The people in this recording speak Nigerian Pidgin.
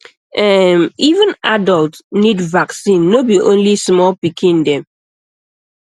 ehm even adult need vaccine no be only small pikin dem